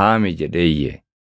haami” jedhee iyye.